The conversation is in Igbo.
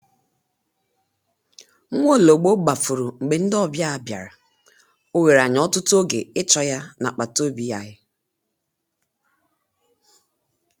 Nwaologbo gbafuru mgbe ndị ọbịa bịara, ọ were anyị ọtụtụ oge ịchọ ya n'agbataobi anyị.